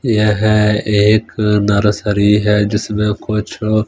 यह एक नर्सरी है जिसमें कुछ--